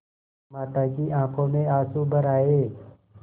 माता की आँखों में आँसू भर आये